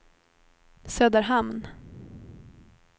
Söderhamn